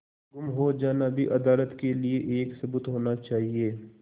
गुम हो जाना भी अदालत के लिये एक सबूत होना चाहिए